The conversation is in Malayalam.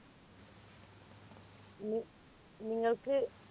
നീ നിങ്ങൾക്ക്